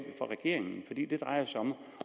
for regeringen fordi det drejede sig om